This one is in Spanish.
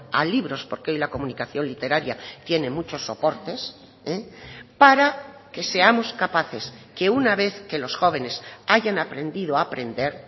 a libros porque hoy la comunicación literaria tiene muchos soportes para que seamos capaces que una vez que los jóvenes hayan aprendido a aprender